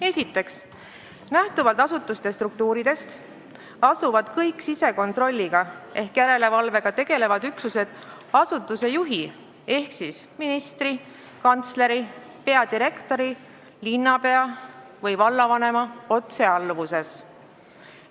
Esiteks, lähtuvalt asutuse struktuurist on kõik sisekontrolliga ehk järelevalvega tegelevad üksused asutuse juhi ehk ministri, kantsleri, peadirektori, linnapea või vallavanema otsealluvuses.